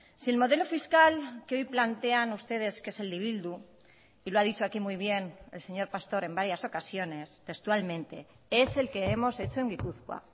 si el modelo fiscal que hoy plantean ustedes que es el de bildu y lo ha dicho aquí muy bien el señor pastor en varias ocasiones textualmente es el que hemos hecho en gipuzkoa